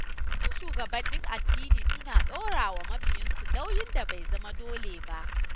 Wasu shugabannin addini suna ɗora wa mabiyansu nauyin da bai zama dole ba.